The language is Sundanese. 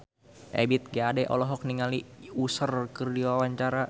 Ebith G. Ade olohok ningali Usher keur diwawancara